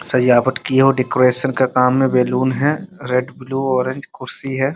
सजावट की हो डेकोरेशन के काम में बैलून है रेड ब्लू ऑरेंज कुर्सी है।